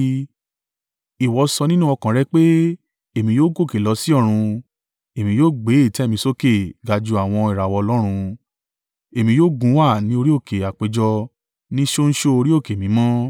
Ìwọ sọ nínú ọkàn rẹ pé, “Èmi yóò gòkè lọ sí ọ̀run; èmi yóò gbé ìtẹ́ mi sókè ga ju àwọn ìràwọ̀ Ọlọ́run, Èmi yóò gúnwà ní orí òkè àpéjọ ní ṣóńṣó orí òkè mímọ́.